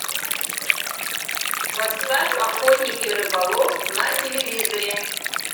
поставь охотник и рыболов на телевизоре